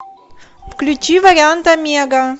включи вариант омега